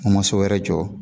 N ko ma so wɛrɛ jɔ,